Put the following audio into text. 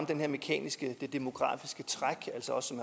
det mekaniske det her demografiske træk altså også